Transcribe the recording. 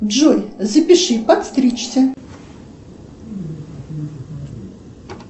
джой запиши подстричься